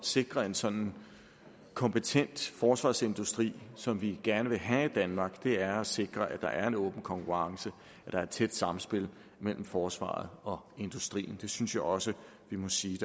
sikre en sådan kompetent forsvarsindustri som vi gerne vil have i danmark er ved at sikre at der er en åben konkurrence og et tæt sammenspil mellem forsvaret og industrien det synes jeg også at vi må sige